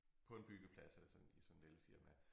På en byggeplads altså i sådan lille firma